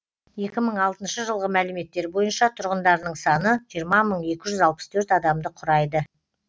екі мың алтыншы жылғы мәліметтер бойынша тұрғындарының саны жиырма мың екі жүз алпыс төрт адамды құрайды